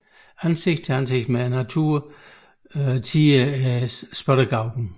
Ansikt til ansikt med naturen tier spottegauken